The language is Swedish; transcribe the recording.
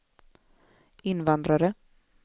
invandrare